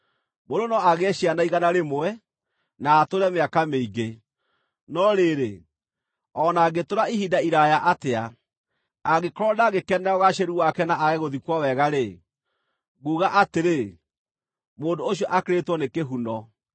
Mũndũ no agĩe ciana igana rĩmwe na atũũre mĩaka mĩingĩ; no rĩrĩ, o na angĩtũũra ihinda iraaya atĩa, angĩkorwo ndangĩkenera ũgaacĩru wake na aage gũthikwo wega-rĩ, nguuga atĩrĩ, mũndũ ũcio akĩrĩtwo nĩ kĩhuno.